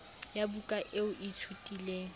ya buka eo o ithutileng